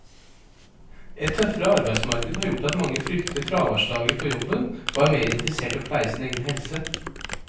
Et tøffere arbeidsmarked har gjort at mange frykter fraværsdager på jobben og er mer interessert i å pleie sin egen helse.